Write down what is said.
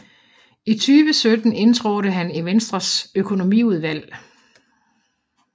I 2017 indtrådte han i Venstres Økonomiudvalg